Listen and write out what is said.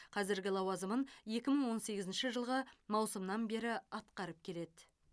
қазіргі лауазымын екі мың он сегізінші жылғы маусымнан бері атқарып келеді